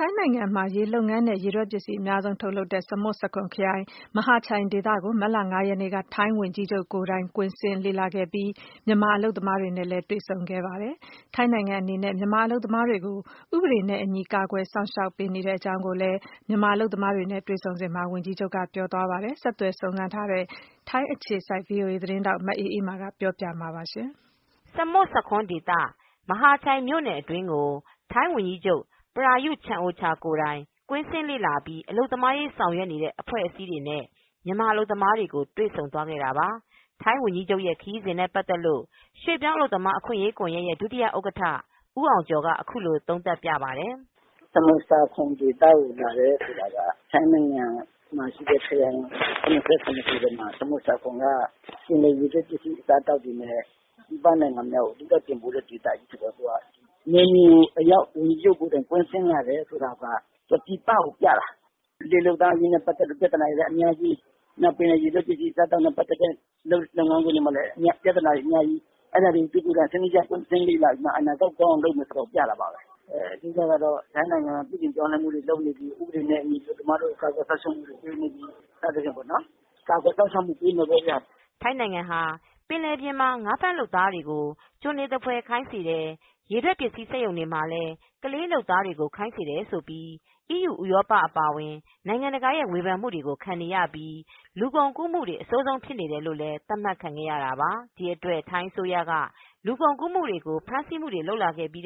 ထိုင်းနိုင်ငံမှာရေလုပ်ငန်းနဲ့ ရေထွက်ပစ္စည်းအများဆုံးထုတ်လုပ်တဲ့ ပြည်နယ်ဖြစ်တဲ့ ဆာမွတ်ဆာခွန်းခရိုင် မဟာချိုင်ဒေသကို မတ်လ၅ ရက်နေ့က ထိုင်းဝန်ကြီးချုပ် ကိုယ်တိုင် ကွင်းဆင်းလေ့လာခဲ့ပြီး မြန်မာအလုပ်သမားတွေနဲ့ တွေဆုံခဲ့ပါတယ်။ ထိုင်းနိုင်ငံအနေနဲ့ မြန်မာ အလုပ်သမားတွေကို ဥပဒေနဲ့ အညီ ကာကွယ်စောင့်ရှောက်မူ ပေးနေတဲ့အကြောင်းလည်း ဝန်ကြီးချုပ်က ပြောကြားသွား ခဲ့ပါတယ်။ ဒီအကြောင်း VOA ထိုင်းအခြေစိုက် သတင်းထောက် မအေးအေးမာက သတင်းပေးပို့ ထားပါတယ်။ ဆာမွန်ဆာခွန် ဒေသ မဟာချိုင်မြို့နယ်အတွင်းကို ထိုင်းဝန်ကြီးချုပ် ပရာယု ချန်အိုချာကိုယ်တိုင် ကွင်းဆင်းလေ့လာပြီး အလုပ်သမားရေးဆောင်ရွက်နေတဲ့ အဖွဲ့အစည်းတွေနဲ့ မြန်မာအလုပ်သမားတွေကိုတွေဆုံသွားခဲ့တာပါ။ ထိုင်းဝန်ကြီးချုပ်ရဲ့ ခရီးစဉ်နဲ့ ပတ်သက်လို့ ရွှေ့ပြောင်းအလုပ်သမားအခွင့်ရေး ကွန်ယက်ရဲ့ ဒုဥက္ကဌ ဦးအောင်ကျော်က အခုလို သုံးသပ်ပြပါတယ်။ "ဆာမွတ်ဆာခွန်းဒေသကိုလာတယ်ဆိုတာက ထိုင်းနိုင်ငံမှာရှိတဲ့ခရိုင် ၇၇ခုထဲမှာ ထိုင်းနိုင်ငံကရေထွက်ပစ္စည်းတွေ အစားအသောက်တွေကို ပြည်ပနိုင်ငံကိုအဓိက တင်ပို့တာဆိုတော့ ပြည်ပကိုပြတာ ပဲ။ ရေလုပ်သားအရေးနဲ့ ပတ်သက်လို့ ပြဿနာတွေကအများကြီး ပင်လယ်ရေထွက်ပစ္စည်းတွေ လုပ်နေတဲ့စက်ရုံတွေမှာလည်း ပြဿနာတွေကအများကြီး။ အဲဒါတွေကို စနစ်တကျကွင်းဆင်းလေ့လာပြီး မှ အနာဂတ်ကိုကောင်းအောင်လုပ်မယ် ဆိုတာကိုပြတာပါပဲ။ အဓိက ကတော့ ထိုင်းနိုင်ငံပြုပြင်ပြောင်းလဲမူတွေ လုပ်နေပြီ ၊ ဥပဒေနဲ့ အညီကာကွယ်စောင့်ရှောက်မူတွေပေးနေပြီ။ ကာကွယ်စောင့်ရှောက်မူပေးမယ်ပေါ့ဗျာ" ထိုင်းနိုင်ငံဟာ ပင်လယ်ပြင်မှာ ငါးဖမ်းလုပ်သားတွေကိုကျွန်တွေသဖွယ် ခိုင်းစေတယ် ရေထွက်ပစ္စည်းစက်ရုံတွေမှာလည်း ကလေးလုပ်သားတွေခိုင်းစေတယ်ဆိုပြီး အီးယူ ဥရောပအပါအဝင်နိုင်ငံတကာရဲ့ ဝေဖန်မူတွေကို ခံနေရပြီး လူကုန်ကူးမူတွေ အဆိုးဆုံးဖြစ်နေတယ်လို့ သတ်မှတ်ခံခဲ့ရတာပါ။ ဒီအတွက် ထိုင်းအစိုးရက လူကုန်ကူးမူတွေကို ဖမ်းဆီးမူတွေလုပ်လာခဲ့ပြီး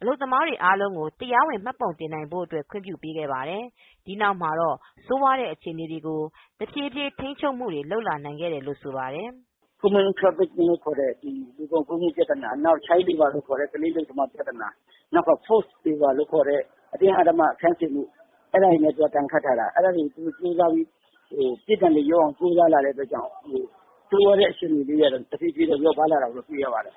အလုပ်သမားတွေအားလုံးကို တရားဝင်မှတ်ပုံတင်နိုင်ဖို့ အတွက်ခွင့်ပြုပေးခဲ့ပါတယ်။ ဒီနောက်မှာတော့ ဆိုးဝါးတဲ့အခြေအနေတွေကို တဖြည်းဖြည်း ထိန်းချုပ်မူတွေလုပ်လာနိုင်ခဲ့တယ် လို့ဆိုပါတယ်။ "Human Trafficking လို့ခေါ်တဲ့ လူကုန်ကူးမူ ပြဿနာ နောက် child laborလို့ခေါ်တဲ့ ကလေးလုပ်သားပြဿနာ force labor လို့ ခေါ်တဲ့ အတင်းအကြပ် အလုပ်ခိုင်းစေတဲ့ပြဿနာတွေကို ဒဏ်ခတ်တာမို့ဆိုးဝါးတဲ့အခြေအနေကနေ တဖြည်းဖြည်းလျော့ပါးလာတာကိုတွေ့ရတယ်"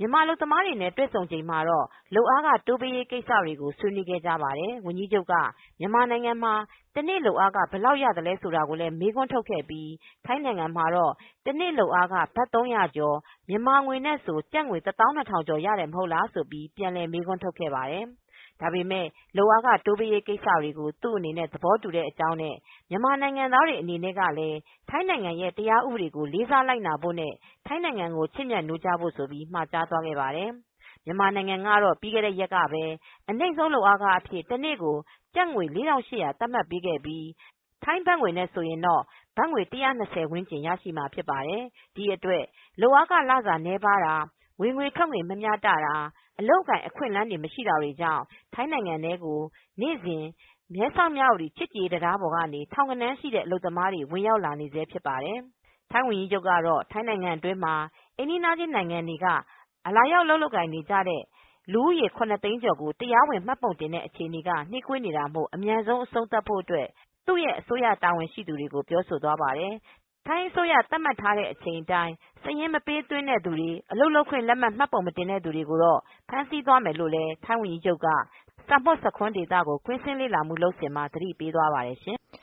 မြန်မာအလုပ်သမားတွေနဲ့ တွေဆုံချိန်မှာတော့ လုပ်အားခတိုးပေးရေးကိစ္စတွေကို ဆွေးနွေးခဲ့ကြပါတယ်။ ဝန်ကြီးချုပ်က မြန်မာနိုင်ငံမှာ တနေ့ လုပ်အားခဘယ်လောက်ရသလဲ ဆိုတာကိုမေးခွန်းထုတ်ခဲ့ပြီး ထိုင်းနိုင်ငံမှာတော့ တနေ့ လုပ်အားခ ဘတ်၃၀၀ကျော် မြန်မာငွေနဲ့ ဆို ကျပ်ငွေ ၁၂၀၀၀ကျော်ရတယ် မဟုတ်လားဆိုပြီး ပြန်လည်မေးခွန်း ထုတ်ခဲ့ပါတယ်။ ဒါပေမဲ့ လုပ်အားခတိုးပေးဖို့ ကိစ္စကို သူအနေနဲ့ သဘောတူတဲ့အကြောင်းနဲ့ မြန်မာနိုင်ငံသားတွေအနေနဲ့ ကလည်း ထိုင်းနိုင်ငံရဲ့ တရားဥပဒေကိုလေးစားလိုက်နာဖို့နဲ့ ထိုင်းနိုင်ငံကို ချစ်မြတ်နိုးကြပါလို့ မှာကြားသွားပါတယ်။ မြန်မာနိုင်ငံကတော့ ပြီးခဲ့တဲ့ရက်ကပဲ အနှိမ့်ဆုံးလုပ်အားအဖြစ် တနေ့ကို ကျပ်ငွေ ၄၈၀၀ သတ်မှတ်ပေးခဲ့ပြီး ထိုင်းဘတ်ငွေနဲ့ဆိုရင်တော့ ဘတ်ငွေ ၁၂၀ ဝန်းကျင်ရရှိမှာဖြစ်ပါတယ်။ ဒီအတွက် လုပ်အားခလစာနည်းပါးတာ ဝင်ငွေထွက်ငွေမမျှတာ အလုပ်အကိုင် အခွင့်အလန်းတွေ မရှိတာတွေကြောင့် ထိုင်းနိုင်ငံထဲကို နေစဉ် မဲဆောက်၊ မြဝတီနယ်စပ်ချစ်ကြည်ရေး တံတားပေါ်ကနေ ထောင်ဂဏန်းရှိတဲ့ အလုပ်သမားတွေ ဝင်ရောက်လာနေဆဲဖြစ်ပါတယ်။ ထိုင်းဝန်ကြီးချုပ်ကတော့ ထိုင်းနိုင်ငံအတွင်းမှာအိမ်နီးခြင်း နိုင်ငံတွေက လာရောက်လုပ်ကိုင် နေသူ ၇၀၀၀၀၀ ကျော်ကို တရာဝင် မှတ်ပုံတင်တဲ့ အခြေအနေက နှေးကွေးနေတာမို့အမြန်ဆုံး အဆုံးသတ်ဖို့ သူအစိုးရ တာဝန်ရှိသူတွေ ကိုပြောဆိုသွားပါတယ်။ ထိုင်အစိုးရ သတ်မှတ်ထားချိန် အတိုင်းစာရင်းမပေးသွင်းတဲ့ သူတွေအလုပ်လုပ်ခွင့်မှတ်ပုံမတင် သူတွေကိုတော့ ဖမ်းဆီးသွားမယ်လို့လည်း ထိုင်းဝန်ကြီးချုပ်က ဆာမွတ်ဆာခွန်းဒေသကိုကွင်းဆင်းလေ့လာမူလုပ်စဉ်မှာ သတိပေးသွားပါတယ်။